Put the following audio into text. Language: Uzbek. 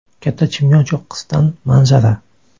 Katta Chimyon cho‘qqisidan manzara.